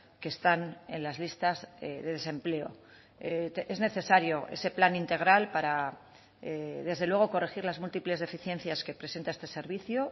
que están en las listas de desempleo es necesario ese plan integral para desde luego corregir las múltiples deficiencias que presenta este servicio